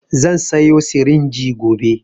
Zan sayo sirinji gobe